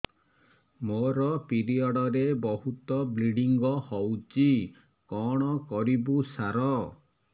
ମୋର ପିରିଅଡ଼ ରେ ବହୁତ ବ୍ଲିଡ଼ିଙ୍ଗ ହଉଚି କଣ କରିବୁ ସାର